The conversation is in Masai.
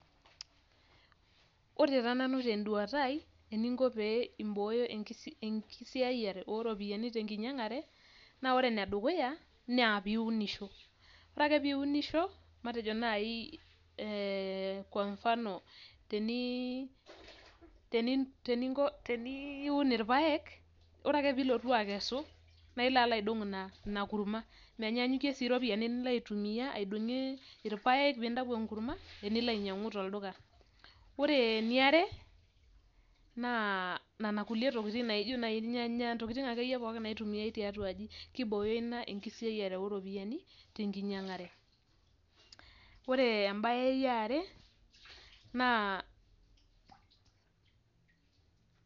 Ore taa nanu tenduata ai eningo pee imbooyo enkisiayiare oo ropiyiani tenkiangare naa ore enedukuya; naa pee eunisho, ore ake pee eunisho matejo naaji, ee kwa mfano te niiun ilpayek, ore ake peyie ilotu akesu naa ilo aidong ina kurma menyanyaanyukie sii iropiyiani nilo aitumiya aidongie ilpayek pee intayu enkurma inilo aitumiya ainyiangu tolduka. Ore eniare, naa nena tokitin naijo ilnyanya intokitin akeyie pookin naitumiyai tiatua aj.,kibooyo ina enkisiayiare oo ropiyiani tenkiangare.